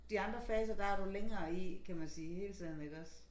De andre fser der er du længere i kan man sige hele tiden iggås